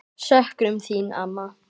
Söknum þín, amma.